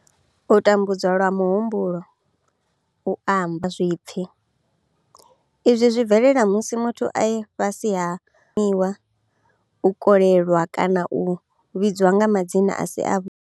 U tambudzwa lwa muhumbulo, u amba, kana zwipfi izwi zwi bvelela musi muthu e fhasi miwa, u kolelwa kana u vhidzwa nga madzina a si.